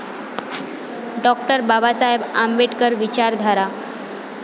डॉ. बाबासाहेब आंबेडकर विचारधारा